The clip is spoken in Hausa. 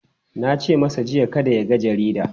Na ce masa jiya kada ya yaga jarida!